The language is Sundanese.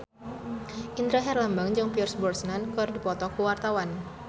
Indra Herlambang jeung Pierce Brosnan keur dipoto ku wartawan